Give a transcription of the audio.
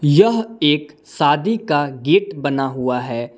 यह एक शादी का गेट बना हुआ है।